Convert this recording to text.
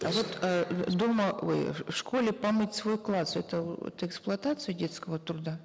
а вот э дома ой в школе помыть свой класс это это эксплуатация детского труда